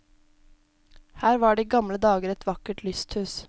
Her var det i gamle dager et vakkert lysthus.